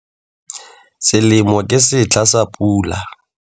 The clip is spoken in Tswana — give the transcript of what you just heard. Selemo ke setlha sa pula.